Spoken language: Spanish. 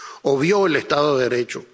obvió el Estado de Derecho